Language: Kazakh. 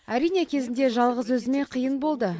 әрине кезінде жалғыз өзіме қиын болды